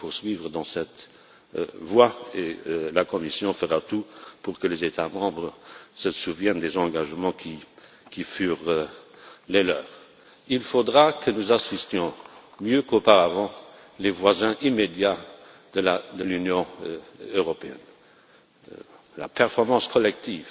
Il faut poursuivre dans cette voie et la Commission fera tout pour que les États membres se souviennent des engagements qui furent les leurs. Il faudra que nous assistions mieux qu'auparavant les voisins immédiats de l'Union européenne. La performance collective